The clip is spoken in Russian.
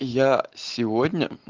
я сегодня